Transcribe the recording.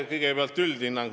Kõigepealt see üldhinnang.